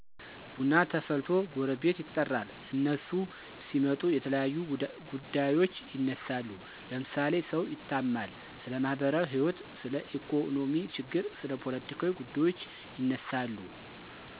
ቡና ተፈልቶ ጎረቤት ይጠራል። እነሱ ሲመጡ የተለያዩ ጉዳዬች ይነሳሉ ለምሳሌ ሰው ይታማል፣ ስለማህበራዎህይወት፣ ስለኢኮኖሚ ችግር፣ ስለ ፓለቲካ ጉዳዩች ይነሳሉ።